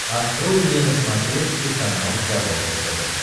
открой мне на смотрешке канал здоровое тв